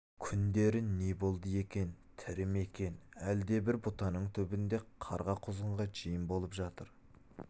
күндері не болды екен тірі ме екен әлде әлде бір бұтаның түбінде қарға-құзғынға жем болып жатыр